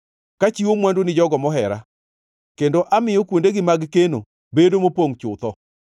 kachiwo mwandu ni jogo mohera kendo amiyo kuondegi mag keno bedo mopongʼ chutho.